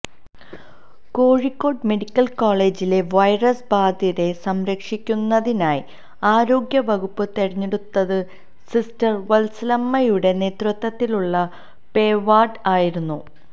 Kozhikode medical കോളേജിലെ virus ബാധിതരെ സംരക്ഷിക്കുന്നതിനായ് ആരോഗ്യ വകുപ്പ് തെരഞ്ഞെടുത്തത് സിസ്റ്റർ വത്സമ്മയുടെ നേതൃത്വത്തിലുള്ള പേവാർഡ് ആയിരുന്നു